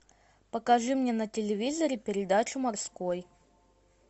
покажи мне на телевизоре передачу морской